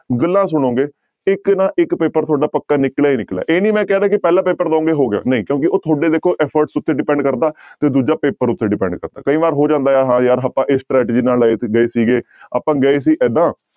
ਗੱਲਾਂ ਸੁਣੋਗੇ ਇੱਕ ਨਾ ਇੱਕ ਪੇਪਰ ਤੁਹਾਡਾ ਪੱਕਾ ਨਿਕਲਿਆ ਹੀ ਨਿਕਲਿਆ ਇਹ ਨੀ ਮੈਂ ਕਹਿ ਰਿਹਾ ਕਿ ਪਹਿਲਾ ਪੇਪਰ ਦਓਗੇ ਹੋ ਗਿਆ ਨਹੀਂ ਕਿਉਂਕਿ ਉਹ ਤੁਹਾਡੇ ਦੇਖੋ efforts ਉੱਤੇ depend ਕਰਦਾ ਤੇ ਦੂਜਾ ਪੇਪਰ ਉੱਤੇ depend ਕਰਦਾ ਕਈ ਵਾਰ ਹੋ ਜਾਂਦਾ ਹੈ ਹਾਂ ਯਾਰ ਆਪਾਂ ਇਸ strategy ਨਾਲ ਆਏ ਤੇ ਗਏ ਸੀਗੇ ਆਪਾਂ ਗਏ ਸੀ ਏਦਾਂ